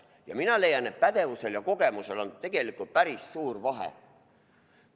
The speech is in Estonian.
Ja mina leian, et pädevusel ja kogemusel on tegelikult päris suur vahe.